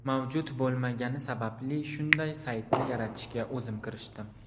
Mavjud bo‘lmagani sababli, shunday saytni yaratishga o‘zim kirishdim.